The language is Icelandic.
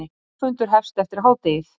Þingfundur hefst eftir hádegið